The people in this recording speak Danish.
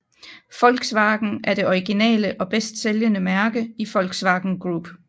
Volkswagen er det originale og bedst sælgende mærke i Volkswagen Group